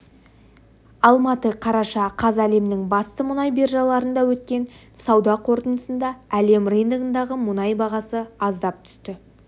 алматы қараша қаз әлемнің басты мұнай биржаларында өткен сауда қортындысында әлем рыногындағы мұнай бағасы аздап түсті